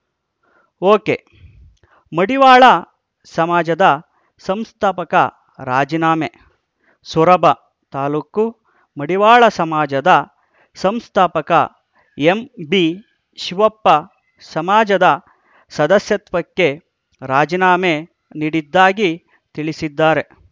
ಒಕೆಮಡಿವಾಳ ಸಮಾಜದ ಸಂಸ್ಥಾಪಕ ರಾಜಿನಾಮೆ ಸೊರಬ ತಾಲೂಕು ಮಡಿವಾಳ ಸಮಾಜದ ಸಂಸ್ಥಾಪಕ ಎಂಬಿಶಿವಪ್ಪ ಸಮಾಜದ ಸದಸ್ಯತ್ವಕ್ಕೆ ರಾಜಿನಾಮೆ ನೀಡಿದ್ದಾಗಿ ತಿಳಿಸಿದ್ದಾರೆ